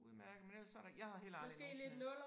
Udmærket men ellers så der jeg har heller aldrig nogensinde